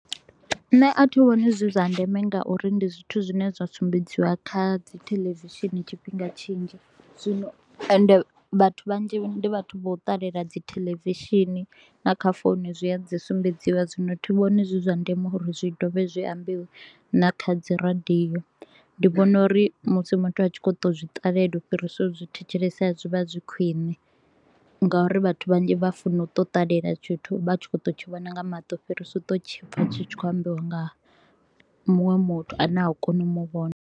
Nṋe a thi vhoni zwi zwa ndeme nga uri ndi zwithu zwine zwa sumbedziwa kha dzi theḽevishini tshifhinga tshinzhi, zwino ende vhathu vhanzhi ndi vhathu vha u ṱalela dzi theḽevishini. Na kha founu zwi a dzi sumbedziwa zwino thi vhoni zwi zwa ndeme uri zwi dovhe zwi ambiwa na kha dzi radio. Ndi vhona uri musi muthu a tshi kho u to u zwi ṱalela u fhirisa u zwi thetshelesa zwi vha zwi khwine, nga uri vhathu vhanzhi vha funa u to u ṱalela tshithu vha tshi kho u to u tshi vhona nga maṱo u fhirisa u to u tshi pfa tshi tshi kho u ambiwa nga muṅwe muthu a ne a u koni u muvhona.